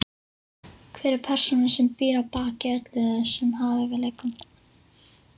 Hver er persónan sem býr að baki öllum þessum hæfileikum?